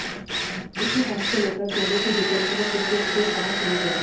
इसी बात को लेकर सोनू की जितेंद्र व कृष्ण से कहासुनी हो गई